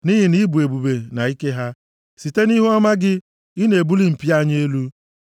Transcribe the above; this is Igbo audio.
Nʼihi na ị bụ ebube na ike ha, site nʼihuọma gị, ị na-ebuli mpi anyị elu.